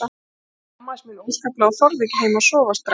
Ég skammaðist mín óskaplega og þorði ekki heim að sofa strax.